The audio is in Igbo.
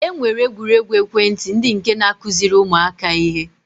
E nwere egwuruegwu ekwentị ndị nke na-akụziri ụmụaka ihe